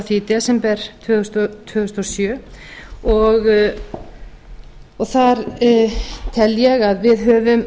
því í desember tvö þúsund og sjö og þar tel ég að við höfum